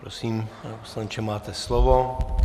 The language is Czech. Prosím, pane poslanče, máte slovo.